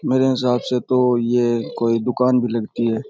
मेरे हिसाब से तो ये कोई दुकान भी लगती है।